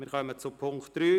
Wir kommen zum Punkt 3.